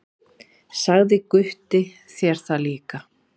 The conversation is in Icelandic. Sagði Gutti þér það líka?